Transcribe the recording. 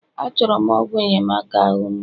Achọrọ m ọgwụ enyemaka ahu mgbu